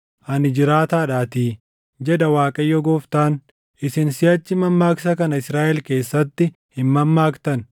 “Ani jiraataadhaatii, jedha Waaqayyo Gooftaan; isin siʼachi mammaaksa kana Israaʼel keessatti hin mammaaktan.